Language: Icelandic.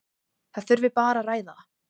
Það þurfi bara að ræða.